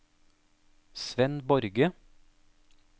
Svenn Borge